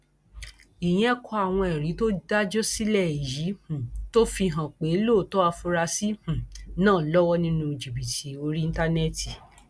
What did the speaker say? ìyẹn kọ àwọn ẹrí tó dájú sílẹ èyí um tó fi hàn pé lóòótọ afurasí um náà lọwọ nínú jìbìtì orí íńtánẹẹtì